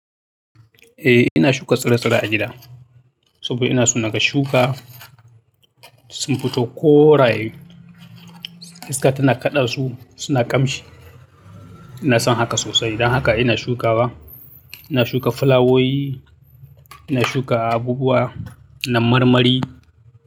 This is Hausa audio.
E ina shuka tsure tsure a gida saboda ina so naga shuka sun fito koraye iska tana kaɗa su suna kamshi ina son haka sosai dan haka ina shukawa, ina shuka fulawowi, ina shuka abubuwa na marmari.